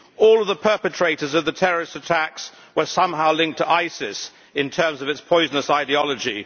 All of the perpetrators of the terrorist attacks were somehow linked to ISIS in terms of its poisonous ideology.